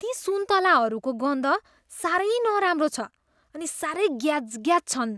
ती सुन्तलाहरूको गन्ध साह्रै नराम्रो छ अनि साह्रै ग्याजग्याज छन्।